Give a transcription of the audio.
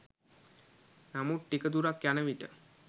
නමුත් ටික දුරක් යනවිට